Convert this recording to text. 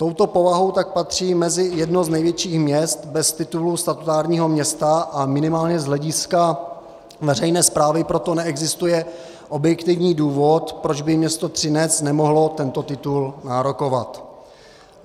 Touto povahou tak patří mezi jedno z největších měst bez titulu statutárního města, a minimálně z hlediska veřejné správy proto neexistuje objektivní důvod, proč by město Třinec nemohlo tento titul nárokovat.